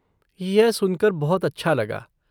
यह सुनकर बहुत अच्छा लगा।